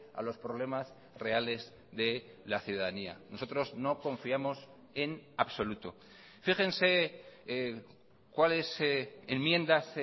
a los problemas reales de la ciudadanía nosotros no confiamos en absoluto fíjense cuáles enmiendas